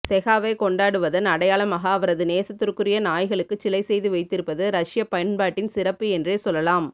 செகாவைக் கொண்டாடுவதன் அடையாளமாக அவரது நேசத்திற்குரிய நாய்களுக்குச் சிலை செய்து வைத்திருப்பது ரஷ்யப் பண்பாட்டின் சிறப்பு என்றே சொல்வேன்